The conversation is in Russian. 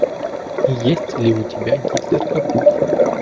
есть ли у тебя гитлер капут